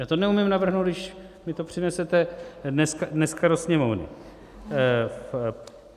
Já to neumím navrhnout, když mně to přinesete dneska do Sněmovny.